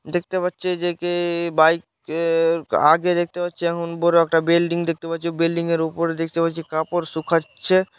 দেখতে পাচ্ছে যে কে বাইক -এ আগে দেখতে পাচ্ছি এমন বড় একটা বিল্ডিং দেখতে পাচ্ছি। বিল্ডিং -এর উপরে দেখতে পাচ্ছি কাপড় শুকাচ্ছে।